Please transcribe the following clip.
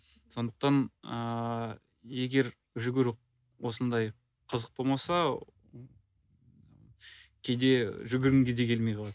сондықтан ыыы егер жүгіру осындай қызық болмаса кейде жүгіргің де келмей қалады